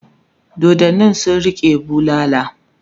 doddanin sun rike bulala